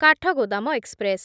Kathgodam express